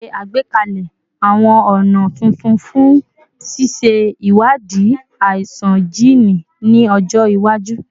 Ṣe agbekalẹ awọn ọna tuntun fun ṣiṣe iwadii aisan jiini ni ọjọ iwaju